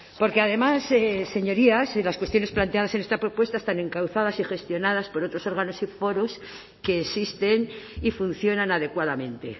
porque además señorías las cuestiones planteadas en esta propuesta están encauzadas y gestionadas por otros órganos y foros que existen y funcionan adecuadamente